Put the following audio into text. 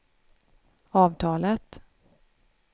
avtalet